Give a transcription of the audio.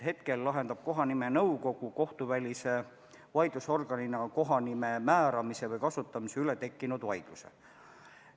Hetkel lahendab kohanimenõukogu kohtuvälise vaidlusorganina kohanime määramise või kasutamise üle tekkinud vaidlused.